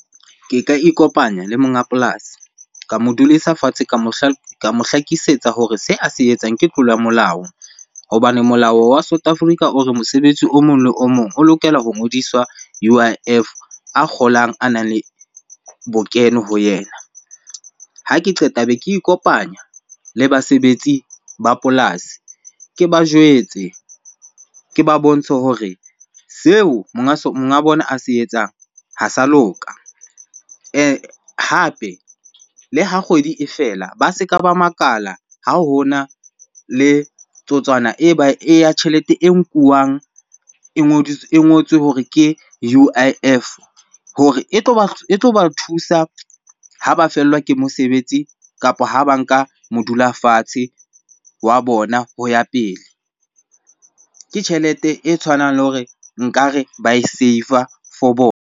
Ke ka ikopanya le monga polasi. Ka mo dudisa fatshe ka mo hlakisetsa hore se a se etsang ke tlolo ya molao. Hobane molao wa South Africa o re mosebetsi o mong le o mong o lokela ho ngodiswa U_I_F, a kgolang a nang le bokeno ho yena. Ha ke qeta be ke ikopanya le basebetsi ba polasi ke ba jwetse, ke ba bontshe hore seo monga bona a se etsang ha sa loka. Hape le ha kgwedi e fela, ba se ka ba makala ha hona le totswana e ya tjhelete e nkuwang e e ngotswe hore ke U_I_F hore e tlo ba thusa ha ba fellwa ke mosebetsi, kapa ha ba nka modula fatshe wa bona ho ya pele. Ke tjhelete e tshwanang le hore nkare ba e save-a for bona.